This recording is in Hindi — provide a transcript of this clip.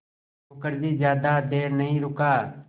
मुखर्जी ज़्यादा देर नहीं रुका